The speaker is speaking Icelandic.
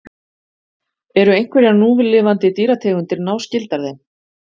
Eru einhverjar núlifandi dýrategundir náskyldar þeim?